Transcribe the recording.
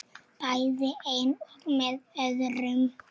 Bæði einn og með öðrum.